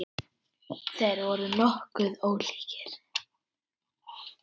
Þeir voru nokkuð ólíkir.